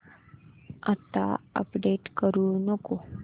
आता अपडेट करू नको